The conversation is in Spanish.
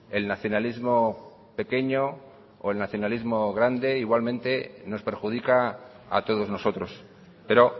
el nacionalismo pequeño o el nacionalismo grande igualmente nos perjudica a todos nosotros pero